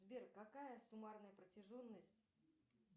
сбер какая суммарная протяженность